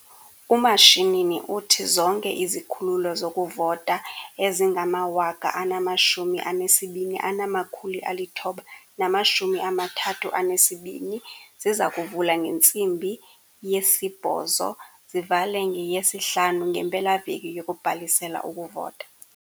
UMashinini uthi zonke izikhululo zokuvota ezingama-22 932 ziza kuvula ngentsimbi ye-08h00 zivale ngeye-17h00 ngempela-veki yokubhalisela ukuvota.